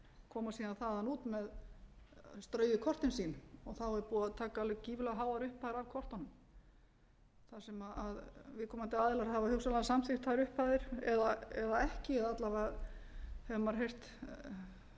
koma síðan þaðan út með straujuð kortin sín og þá er búið að taka alveg gífurlega háar upphæðir af kortunum þar sem viðkomandi aðilar hafa hugsanlega samþykkt þær upphæðir eða ekki alla vega hefur maður heyrt svona sögur